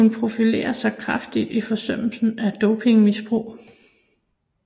Hun profilerer sig kraftigt i fordømmelse af dopingmisbrug